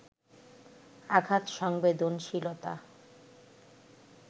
আঘাত সংবেদনশীলতা